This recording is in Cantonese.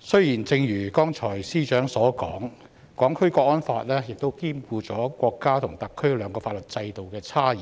雖然正如司長剛才所說，《港區國安法》兼顧國家和特區兩個法律制度的差異，